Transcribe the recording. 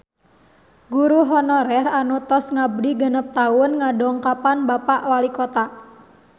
Guru honorer anu tos ngabdi genep tahun ngadongkapan Bapak Walikota